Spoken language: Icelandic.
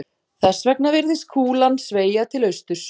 Þess vegna virðist kúlan sveigja til austurs.